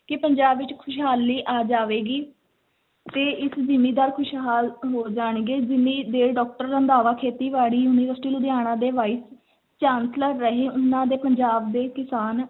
ਕਿ ਪੰਜਾਬ ਵਿੱਚ ਖ਼ੁਸ਼ਹਾਲੀ ਆ ਜਾਵੇਗੀ ਤੇ ਇਸ ਜ਼ਿੰਮੀਦਾਰ ਖ਼ੁਸ਼ਹਾਲ ਹੋ ਜਾਣਗੇ ਜਿੰਨੀ ਦੇਰ doctor ਰੰਧਾਵਾ ਖੇਤੀਬਾੜੀ ਯੂਨੀਵਰਸਿਟੀ, ਲੁਧਿਆਣਾ ਦੇ vice chancellor ਰਹੇ, ਉਹਨਾਂ ਦੇ ਪੰਜਾਬ ਦੇ ਕਿਸਾਨ